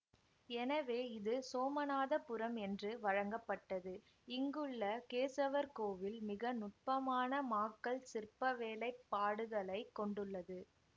எனவே இது சோமநாத புரம் என்று வழங்கப்பட்டது இங்குள்ள கேசவர் கோயில் மிக நுட்பமான மாக்கல் சிற்பவேலைப்பாடுகளைக் கொண்டுள்ளது